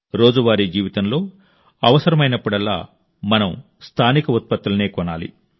రోజువారీ జీవితంలో అవసరమైనప్పుడల్లా మనం స్థానిక ఉత్పత్తులనే కొనాలి